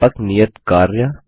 व्यापक नियत कार्य